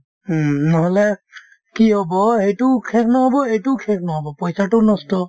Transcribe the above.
উম, নহ'লে কি হ'ব সেইটোও শেষ নহ'ব এইটোও শেষ নহ'ব পইচাতোও নষ্ট